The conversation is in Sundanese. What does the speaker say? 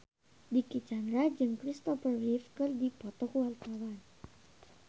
Dicky Chandra jeung Christopher Reeve keur dipoto ku wartawan